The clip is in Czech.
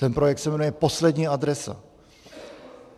Ten projekt se jmenuje Poslední adresa.